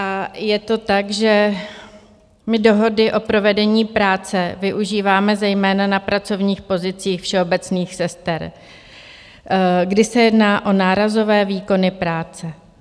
A je to tak, že my dohody o provedení práce využíváme zejména na pracovních pozicích všeobecných sester, kdy se jedná o nárazové výkony práce.